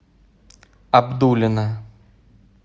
абдулино